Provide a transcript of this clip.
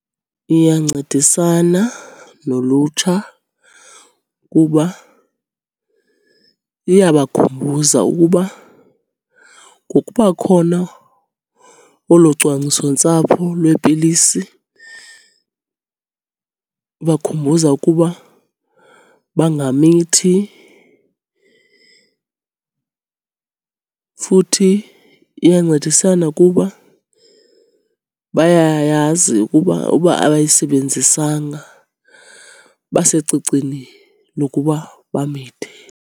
Iyancedisana nolutsha kuba iyabakhumbuza ukuba ngokuba khona kolo cwangcisontsapho lwepilisi, ubakhumbuza ukuba bangamithi. Futhi iyancedisana kuba bayayazi ukuba uba abayisebenzisanga basecicini lokuba bamithe.